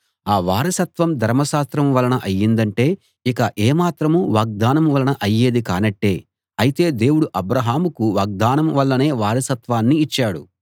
ఆ వారసత్వం ధర్మశాస్త్రం వలన అయిందంటే ఇక ఏ మాత్రం వాగ్దానం వలన అయ్యేది కానట్టే అయితే దేవుడు అబ్రాహాముకు వాగ్దానం వల్లనే వారసత్వాన్ని ఇచ్చాడు